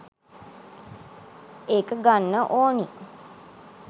එක ගන්න ඕනි.